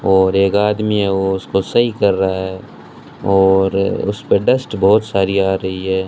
और एक आदमी है ओ उसको सही कर रहा है और उसपे डस्ट बहोत सारी आ रही है।